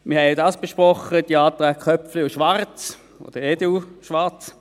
Wir haben die Anträge Köpfli und Schwarz oder EDU/Schwarz auch besprochen.